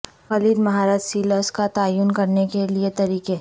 کلید مہارت سیلز کا تعین کرنے کے لئے طریقے